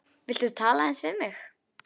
Viltu tala aðeins við mig.